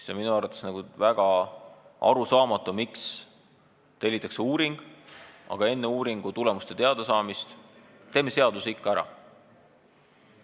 See on minu arvates väga arusaamatu: miks tellitakse uuring, aga enne uuringutulemuste teadasaamist tehakse seadus ikka ära?